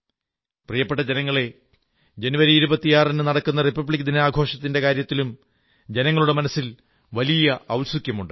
പ്രിയപ്പെട്ട ജനങ്ങളേ ജനുവരി 26ന് നടക്കുന്ന റിപബ്ലിക് ദിന ആഘോഷത്തിന്റെ കാര്യത്തിലും ജനങ്ങളുടെ മനസ്സിൽ വലിയ ഔത്സുക്യമുണ്ട്